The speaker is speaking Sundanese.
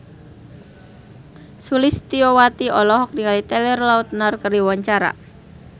Sulistyowati olohok ningali Taylor Lautner keur diwawancara